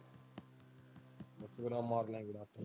ਅੱਛਾ ਮਾਰ ਨੇ ਆ ਗੇੜਾ।